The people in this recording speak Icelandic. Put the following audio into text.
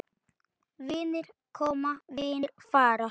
Vinir koma, vinir fara.